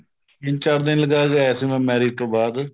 ਤਿੰਨ ਚਾਰ ਦਿਨ ਲਗਾ ਕੇ ਆਇਆ ਸੀ ਮੈਂ marriage ਤੋਂ ਬਾਅਦ